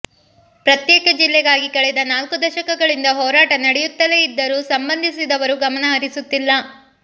ಪ್ರತ್ಯೇಕ ಜಿಲ್ಲೆಗಾಗಿ ಕಳೆದ ನಾಲ್ಕು ದಶಕಗಳಿಂದ ಹೋರಾಟ ನಡೆಯುತ್ತಲೇ ಇದ್ದರೂ ಸಂಬಂಧಿಸಿದವರು ಗಮನಹರಿಸುತ್ತಿಲ್ಲ